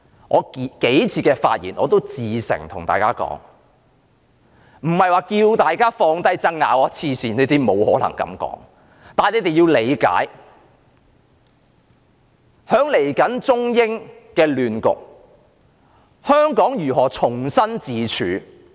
我數次的發言至誠地告訴大家，我並非要求大家放下爭拗，神經病，我不可能這樣說，但大家要理解，在未來的中美亂局中，香港如何重新自處？